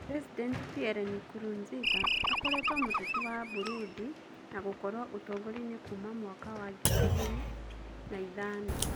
President PierreNkurunzinza akoretwo muteti wa Burundi na gũkorwo utongoriaini kuuma mwaka wa 2005.